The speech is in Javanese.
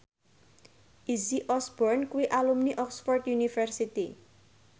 Izzy Osborne kuwi alumni Oxford university